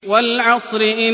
وَالْعَصْرِ